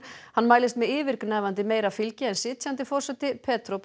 hann mælist með yfirgnæfandi meira fylgi en sitjandi forseti